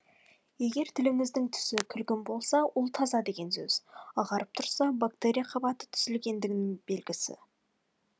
егер тіліңіздің түсі күлгін болса ол таза деген сөз ағарып тұрса бактерия қабаты түзілгендігінің белгісі